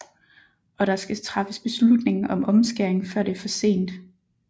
Og der skal træffes beslutning om omskæring før det er for sent